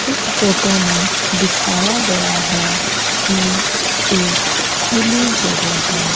इस फोटो में दिखाया गया है कि एक खुली जगह है।